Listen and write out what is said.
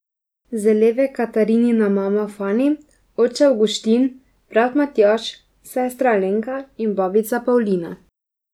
Z leve Katarinina mama Fani, oče Avguštin, brat Matjaž, sestra Alenka in babica Pavlina.